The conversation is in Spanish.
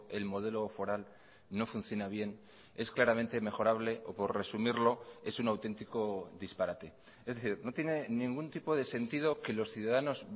el modelo foral no funciona bien es claramente mejorable o por resumirlo es un auténtico disparate es decir no tiene ningún tipo de sentido que los ciudadanos